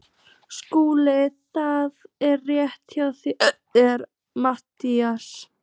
SKÚLI: Það er rétt hjá þér Matthías.